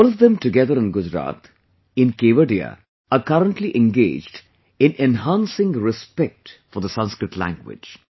All of them together in Gujarat, in Kevadiya are currently engaged in enhancing respect for the Sanskrit language